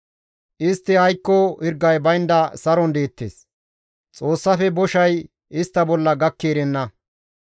Istti aykko hirgay baynda saron deettes; Xoossafe boshay istta bolla gakki erenna.